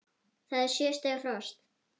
Það er sjö stiga frost!